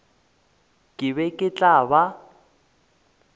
ke be ke tla ba